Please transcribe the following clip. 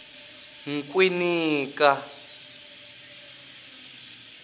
nkwinika